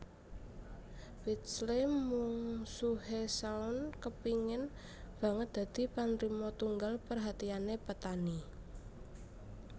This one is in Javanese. Pidsley Mungsuhe Shaun kepingin banget dadi panrima tunggal perhatiane Petani